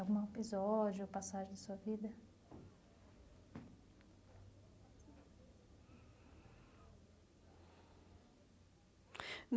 Algum episódio, ou passagem da sua vida?